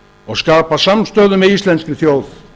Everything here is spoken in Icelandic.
og skapa samstöðu með íslenskri þjóð